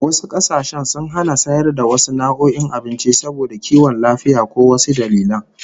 Wasu kasashen sun hana sayar da wasu nau'o'in abinci saboda kiwon lafiya ko wasu dalilan